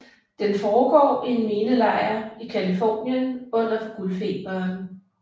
Den foregår i en minelejr i Californien under guldfeberen